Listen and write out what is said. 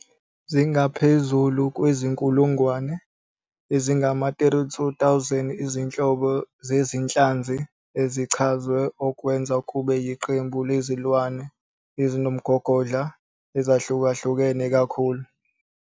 Zingaphezu kwezinkulungwane ezingama-32,000 izinhlobo zezinhlanzi ezichazwe, okwenza kube yiqembu lezilwane ezinomgogodla ezahlukahlukene kakhulu.